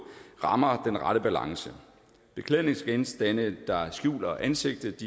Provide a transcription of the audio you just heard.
rammer den rette balance beklædningsgenstande der skjuler ansigtet